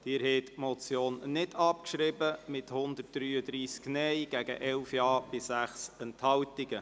Sie haben diese Motion nicht abgeschrieben mit 133 Nein- gegen 11 Ja-Stimmen bei 6 Enthaltungen.